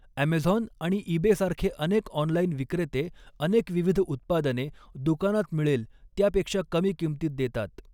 Amazon आणि eBay सारखे अनेक ऑनलाइन विक्रेते अनेक विविध उत्पादने, दुकानात मिळेल त्यापेक्षा कमी किमतीत देतात.